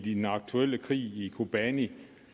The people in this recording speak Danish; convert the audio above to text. i den aktuelle krig i kobani